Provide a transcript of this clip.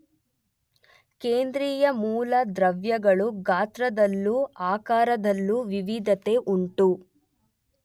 ಕೇಂದ್ರೀಯ ಮೂಲ ದ್ರವ್ಯಗಳು ಗಾತ್ರದಲ್ಲೂ ಆಕಾರದಲ್ಲೂ ವಿವಿಧತೆ ಉಂಟು.